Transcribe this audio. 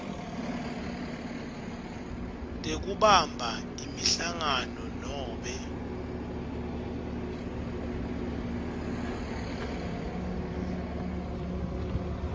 tekubamba imihlangano nobe